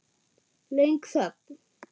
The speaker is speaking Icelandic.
Löng þögn.